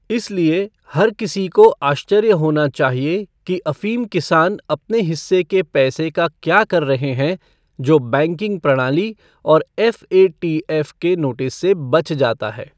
इसलिए, हर किसी को आश्चर्य होना चाहिए कि अफ़ीम किसान अपने हिस्से के पैसे का क्या कर रहे हैं जो बैंकिंग प्रणाली और एफ़एटीएफ़ के नोटिस से बच जाता है।